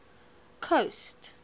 coast